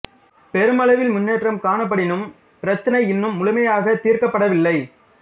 பெரும் அளவில் முன்னேற்றம் காணப்படினும் பிரச்சினை இன்னும் முழுமையாகத் தீர்க்கப்படவில்லை